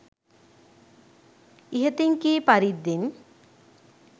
ඉහතින් කී පරිද්දෙන්